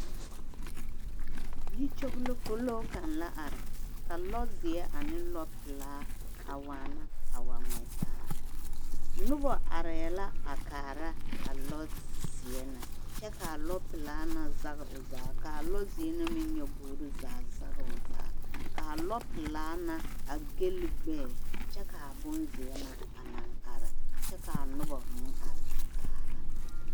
Yi kyoglokoloo kaŋ la are ka lɔ zeɛ ane lɔ pelaa a waana a wa ngmɛ taa nobɔ arɛɛ la a kaara a lɔ zeɛ na kyɛ kaa lɔ pelaa na zage o zaa kaa lɔ zeɛ na meŋ nyobogre zaa zage o zaa kaa lɔ pelaa na a galli gbɛɛ kyɛ kaa bonzeɛ na a naŋ are kyɛ kaa nobɔ meŋ are a kaara.